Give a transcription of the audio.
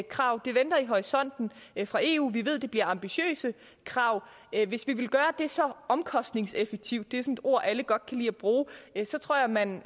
krav de venter i horisonten fra eu vi ved det bliver ambitiøse krav hvis vi vil gøre det så omkostningseffektivt er et ord alle godt kan lige at bruge tror jeg man